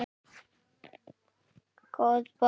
Góð bók.